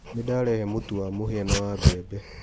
Nĩdarehe mũtu wa mũhia na wa bembe.